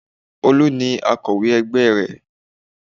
Olú ni akọ̀wé ẹgbẹ́ rẹ̀